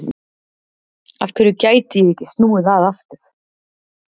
Af hverju gætu ég ekki snúið að aftur?